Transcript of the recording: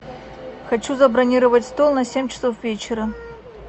хочу забронировать стол на семь часов вечера